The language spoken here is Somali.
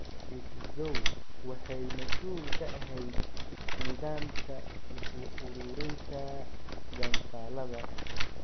Miss Zhou waxay mas'uul ka ahayd nidaamka isu-ururinta gantaallada.